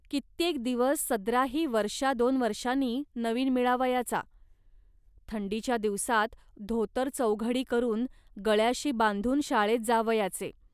कित्येक दिवस सदराही वर्षा दोन वर्षांनी नवीन मिळावयाचा. थंडीच्या दिवसांत धोतर चौघडी करून गळ्याशी बांधून शाळेत जावयाचे